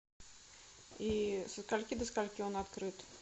и со скольки до скольки он открыт